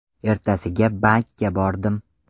Ertasiga bankka bordim.